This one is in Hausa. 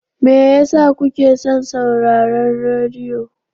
Me yasa kuke son sauraron rediyo?